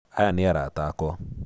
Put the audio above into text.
Aya nĩ arata akwa.